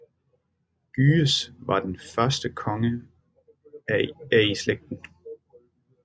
Gyges var den første konge af i slægten